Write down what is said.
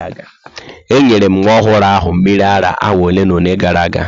Enyere m nwa ọhụrụ ahụ mmiri ara awa ole na ole gara aga.